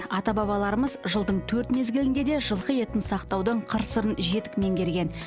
ата бабаларымыз жылдың төрт мезгілінде де жылқы етін сақтаудың қыр сырын жетік меңгерген